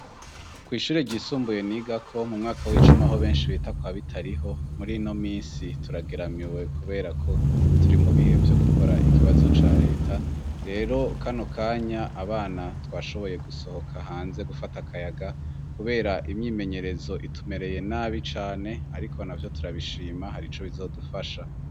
Kw'ishure ryisumbuye nigako mu mwaka w'icumi aho benshi bita kwa Bitariho, murino misi turageramiwe kuberako turi mu bihe vyo gukora ikibazo ca leta, rero kano kanya abana twashoboye gusohoka hanze gufata akayaga kubera imyimenyerezo itumereye nabi cane ariko navyo turabishima harico bizodufasha.